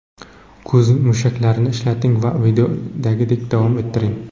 Ko‘z mushaklarini ishlating va videodagidek davom ettiring.